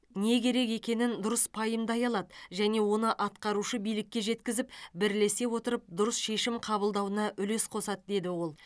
не керек екенін дұрыс пайымдай алады және оны атқарушы билікке жеткізіп бірлесе отырып дұрыс шешім қабылдауына үлес қосады деді ол